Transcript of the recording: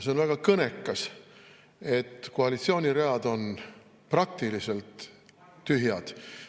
See on väga kõnekas, et koalitsiooni read on praktiliselt tühjad.